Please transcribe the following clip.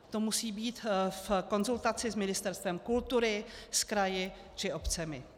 To musí být v konzultaci s Ministerstvem kultury, s kraji či obcemi.